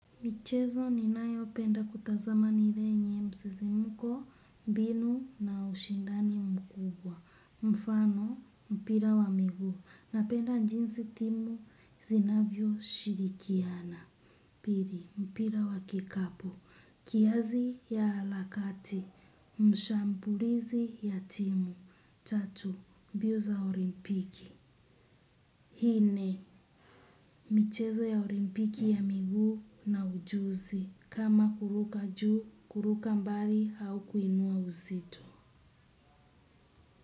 Michezo ninayopenda kutazama ni ile yenye msisimko, mbinu na ushindani mkubwa. Mfano, mpira wa miguu. Napenda jinsi timu zinavyoshirikiana. Pili, mpira wa kikapu. Kiasi ya harakati. Mshambulizi ya timu. Tatu, mbio za olimpiki. Hi ni, michezo ya olimpiki ya miguu na ujuzi. Kama kuruka juu, kuruka mbali au kuinua uzito.